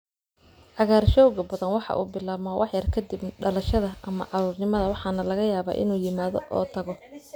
Cagaarshowga badanaa waxa uu bilaabmaa wax yar ka dib dhalashada ama caruurnimada waxaana laga yaabaa inuu yimaado oo tago.